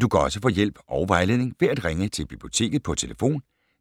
Du kan også få hjælp og vejledning ved at ringe til Biblioteket på tlf.